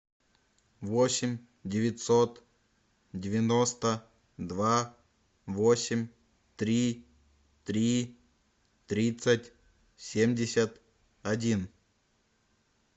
восемь девятьсот девяносто два восемь три три тридцать семьдесят один